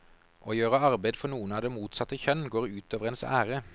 Å gjøre arbeid for noen av det motsatte kjønn går ut over ens ære.